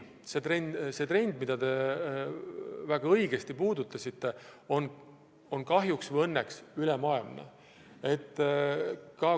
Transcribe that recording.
See trend, millele te väga õigesti viitasite, on kahjuks või õnneks ülemaailmne.